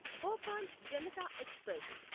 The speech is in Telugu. భోపాల్ జనతా ఎక్స్ప్రెస్